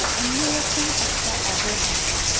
অন্য রকম একটা আবহাওয়া